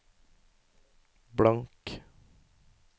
blank